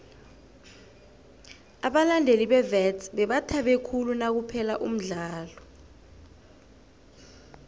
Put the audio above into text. abalandeli bewits bebathabe khulu nakuphela umdlalo